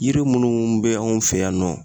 Yiri munnu be anw fɛ yan nɔ